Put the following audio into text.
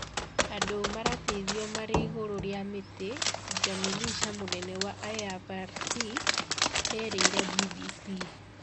Andũ marateithwa mari igũru rĩa mĩti ,Jamie LeSeur mũnene wa IFRC erire BBC.